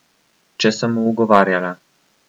Če sem mu ugovarjala.